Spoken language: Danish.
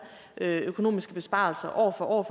økonomiske besparelser år for år